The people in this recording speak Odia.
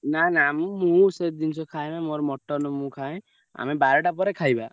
ନା ନା ମୁଁ ମୁଁ ସେ ଜିନିଷ ଖାଏନା ମୋର mutton ମୁଁ ଖାଏ। ଆମେ ବାରେଟା ପରେ ଖାଇବା।